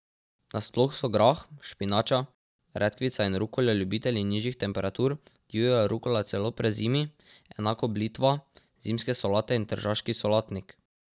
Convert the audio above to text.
Nasploh so grah, špinača, redkvica in rukola ljubitelji nižjih temperatur, divja rukola celo prezimi, enako blitva, zimske solate in tržaški solatnik.